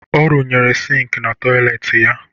Ọ rụnyere sịịnkị na tọyịleetị ya